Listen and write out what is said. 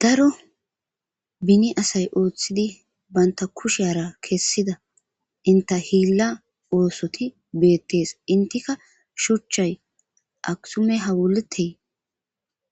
Daro beni asayi oththidi banitta kushiyara kesida entta Hila oththotti betees.enttikka shuchchayi aksume hawuliteyi